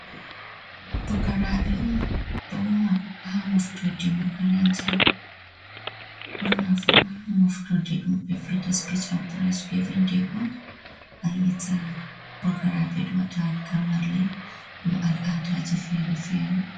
Pukaraɓe on ɗo woma ha moftorde makaranta. Ɓurna fu ha moftorde ɗum ɓe viyata sipich an pirayis givin de on ayiyata pokaraɓe ɗo wata gamarle ɗum al-adaji fere-fere.